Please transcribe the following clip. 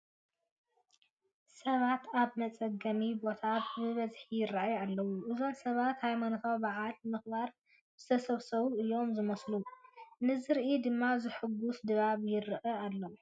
ሰባት ኣብ መፀገሚ ቦታ ብብዝሒ ይርአዩ ኣለዉ፡፡ እዞም ሰባት ሃይማኖታዊ በዓል ንምኽባር ዝተሰባሰቡ እዮም ዝመስሉ፡፡ ንዝርኢ ድማ ዘሕጉስ ድባይ ይርአ ኣሎ፡፡